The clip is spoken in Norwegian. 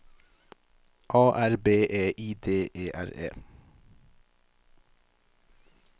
A R B E I D E R E